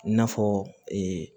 I n'a fɔ ee